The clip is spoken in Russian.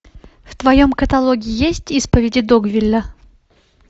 в твоем каталоге есть исповеди догвилля